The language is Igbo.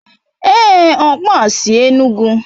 Èé, ọkpa a sy Enugu.